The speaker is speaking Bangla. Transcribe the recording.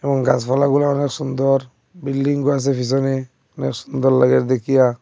এবং গাসপালাগুলা অনেক সুন্দর বিল্ডিং ও আসে পিসনে অনেক সুন্দর লাগে দেখিয়া।